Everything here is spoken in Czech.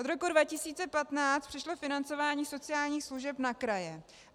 Od roku 2015 přešlo financování sociálních služeb na kraje.